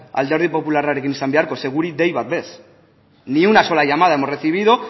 alderdi popularrarekin izan beharko ze guri dei bat bez ni una sola llamada hemos recibido